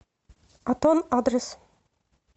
атон адрес